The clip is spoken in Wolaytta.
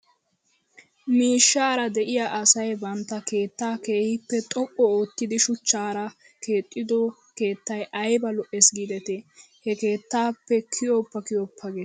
Miishshaara de'iyaa asay bantta keettaa keehippe xoqqu oottidi shuchchaara keexxido keettay ayba lo'es giidetii? He keettaappe kiyoppa kiyoppa gees .